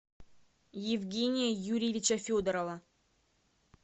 евгения юрьевича федорова